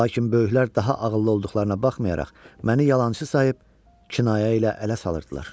Lakin böyüklər daha ağıllı olduqlarına baxmayaraq məni yalançı sayıb kinayə ilə ələ salırdılar.